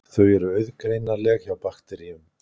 Þau eru auðgreinanleg hjá bakteríum.